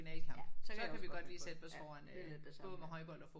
Ja. Så kan vi også godt finde på det. Ja det er lidt det samme